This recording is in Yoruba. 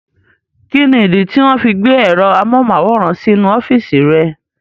Kíni ìdí tí wọ́n fi gbé ẹ̀rọ amóhùnmáwòrán sí inú ọ́fìsì rẹ̀?